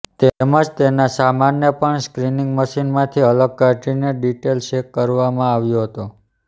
તેમજ તેના સામાનને પણ સ્ક્રિનિંગ મશીનમાંથી અલગ કાઢીને ડિટેઇલ ચેક કરવામાં આવ્યો હતો